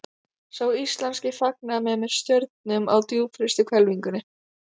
Sá íslenski fagnaði mér með stjörnum á djúpfrystri hvelfingunni.